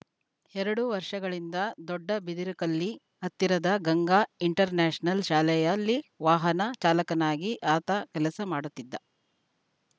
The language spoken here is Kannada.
ಎರಡು ವರ್ಷಗಳಿಂದ ದೊಡ್ಡಬಿದರಕಲ್ಲಿ ಹತ್ತಿರದ ಗಂಗಾ ಇಂಟರ್‌ ನ್ಯಾಷನಲ್‌ ಶಾಲೆಯಲ್ಲಿ ವಾಹನ ಚಾಲಕನಾಗಿ ಆತ ಕೆಲಸ ಮಾಡುತ್ತಿದ್ದ